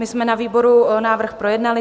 My jsme na výboru návrh projednali.